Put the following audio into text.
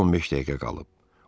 11-ə 15 dəqiqə qalıb.